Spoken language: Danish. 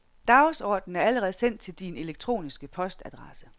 Dagsorden er allerede sendt til din elektroniske postadresse.